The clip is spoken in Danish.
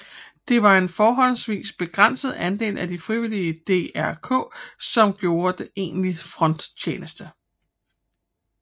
Det var en forholdsvis begrænset andel af de frivillige i DRK som gjorde egentlig fronttjeneste